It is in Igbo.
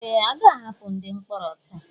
Ee! A ga-ahapụ ndị mkpọrọ taa.